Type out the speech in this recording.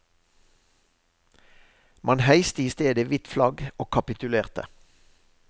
Man heiste i stedet hvitt flagg og kapitulerte.